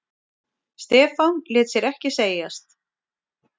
Stefán lét sér ekki segjast.